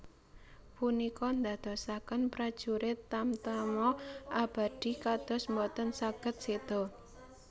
Punika ndadosaken prajurit Tamtama Abadi kados boten saged séda